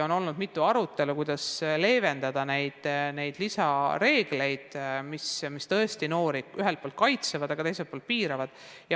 On olnud mitu arutelu, kuidas leevendada neid reegleid, mis tõesti noori ühelt poolt kaitsevad, aga teiselt poolt piiravad.